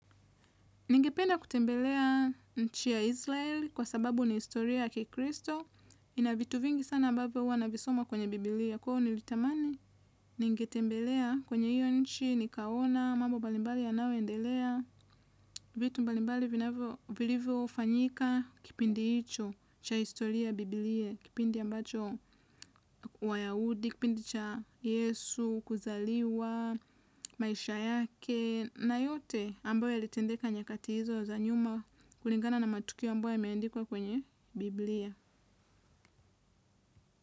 Ningependa kutembelea nchi ya Israel kwa sababu ni historia ya kikristo. Ina vitu vingi sana ambavyo hua navisoma kwenye Bibilia. Kwa ivo nilitamani ningetembelea kwenye hiyo nchi nikaona mambo mbalimbali yanaoendelea. Vitu mbalimbali vinavyo, vilivyofanyika kipindi icho cha historia ya Bibilia. Kipindi ambacho wayahudi, kipindi cha Yesu, kuzaliwa, maisha yake. Na yote ambayo yalitendeka nyakati hizo za nyuma kulingana na matukio ambayo yameandikwa kwenye Bibilia.